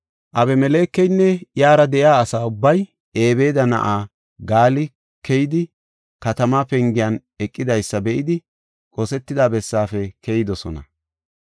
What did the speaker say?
Abimelekeynne iyara de7iya asay Ebeeda na7ay Gaali keyidi katamaa pengiyan eqidaysa be7idi qosetida bessaafe keyidosona.